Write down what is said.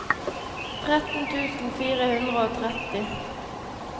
tretten tusen fire hundre og tretti